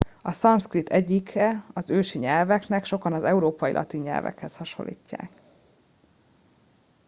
a szanszkrit egyike az ősi nyelveknek sokan az európai latin nyelvhez hasonlítják